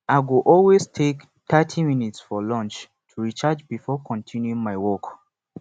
i go always take thirty minutes for lunch to recharge before continuing my work